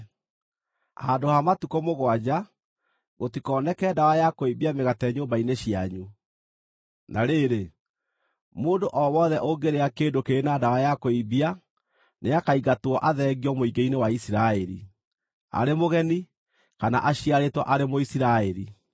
Handũ ha matukũ mũgwanja, gũtikoneke ndawa ya kũimbia mĩgate nyũmba-inĩ cianyu. Na rĩrĩ, mũndũ o wothe ũngĩrĩa kĩndũ kĩrĩ na ndawa ya kũimbia nĩakaingatwo athengio mũingĩ-inĩ wa Isiraeli, arĩ mũgeni, kana aciarĩtwo arĩ Mũisiraeli.